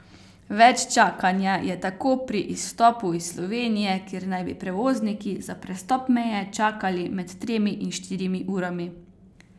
Več čakanja je tako pri izstopu iz Slovenije, kjer naj bi prevozniki za prestop meje čakali med tremi in štirimi urami.